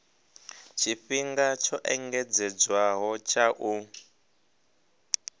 tshifhinga tsho engedzedzwaho tsha u